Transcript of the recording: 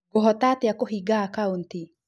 Ngũhota atĩa kũhinga akaũnti?